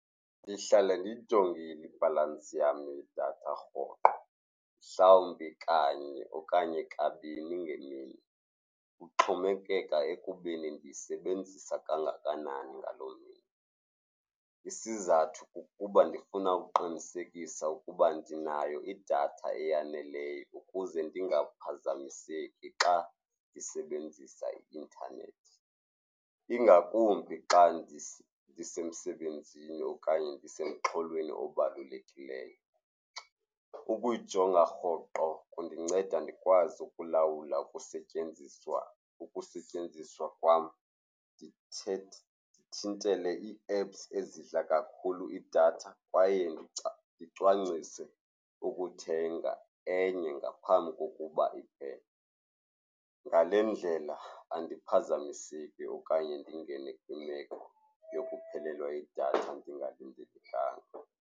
Ndihlale ndiyijongile ibhalansi yam yedatha rhoqo, mhlawumbi kanye okanye kabini ngemini, kuxhomekeka ekubeni ndiyisebenzisa kangakanani ngaloo mini. Isizathu kukuba ndifuna ukuqinisekisa ukuba ndinayo idatha eyaneleyo ukuze ndingaphazamiseki xa ndisebenzisa i-intanethi, ingakumbi xa ndisemsebenzini okanye ndisemxhololweni obalulekileyo. Ukuyijonga rhoqo kundinceda ndikwazi ukulawula ukusetyenziswa, ukusetyenziswa kwam, ndithintele ii-apps ezidla kakhulu idatha kwaye ndicwangcise ukuthenga enye ngaphambi kokuba iphele. Ngale ndlela andiphazamiseki okanye ndingene kwimeko yokuphelelwa yidatha ndingalindelanga.